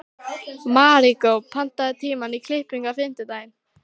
Maríkó, pantaðu tíma í klippingu á fimmtudaginn.